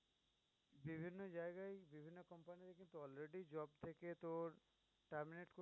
বিভিন্ন জায়গায় বিভিন্ন company already job থেকে তোর terminate